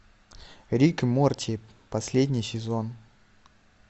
рик и морти последний сезон